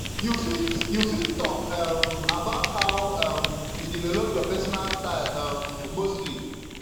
you fit you fit talk um about how um you develop your pesinal style um mostly